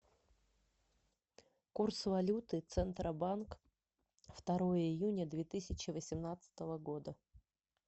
курс валюты центробанк второе июня две тысячи восемнадцатого года